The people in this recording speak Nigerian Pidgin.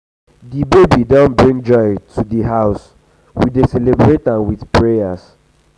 the baby don bring joy to the house we dey celebrate am with prayers.